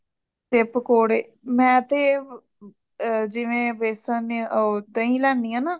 ਤੇ ਪਕੌੜੇ ਮੈਂ ਤੇਏ ਜੀਵੇ ਬੇਸਨ ਹੈ ਦਹੀਂ ਲੈਣੀ ਹੇਨਾ